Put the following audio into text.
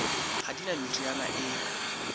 ha di na meriana e